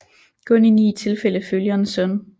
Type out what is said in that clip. Kun i ni tilfælde følger en søn